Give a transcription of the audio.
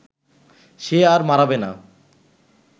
সে আর মাড়াবে না